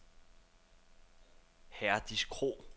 Herdis Krog